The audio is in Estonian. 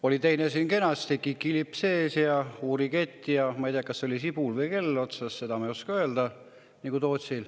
Oli teine siin kenasti, kikilips ees, ja uuriketil oli, ma ei tea, kas kell või sibul otsas, nagu Tootsil, seda ma ei oska öelda.